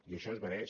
i això es mereix